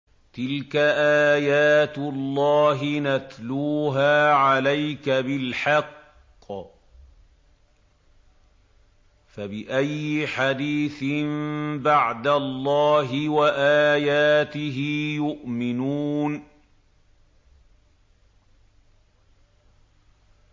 تِلْكَ آيَاتُ اللَّهِ نَتْلُوهَا عَلَيْكَ بِالْحَقِّ ۖ فَبِأَيِّ حَدِيثٍ بَعْدَ اللَّهِ وَآيَاتِهِ يُؤْمِنُونَ